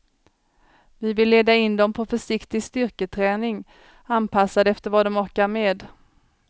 Vi vill leda in dem på försiktig styrketräning, anpassad efter vad de orkar med.